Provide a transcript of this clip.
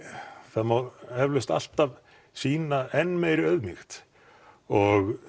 það má eflaust alltaf sýna enn meiri auðmýkt og